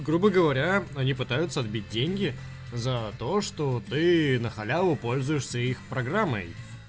грубо говоря они пытаются отбить деньги за то что ты на халяву пользуешься их программой